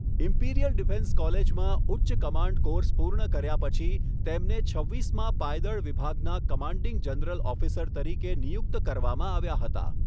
Imperial defence કોલેજમાં ઉચ્ચ command course પૂર્ણ કર્યા પછી, તેમને છવ્વીસમાં પાયદળ વિભાગના કમાન્ડિંગ જનરલ ઓફિસર તરીકે નિયુક્ત કરવામાં આવ્યા હતા.